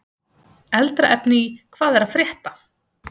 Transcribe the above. Eldra efni í Hvað er að frétta?